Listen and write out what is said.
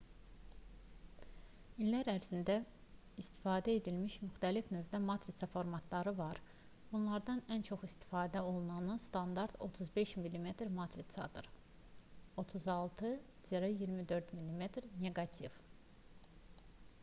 i̇llər ərzində istifadə edilmiş müxtəlif növdə matrisa formatları var. bunlardan ən çox istifadə olunanı standart 35 mm matrisadır 36-24 mm neqativ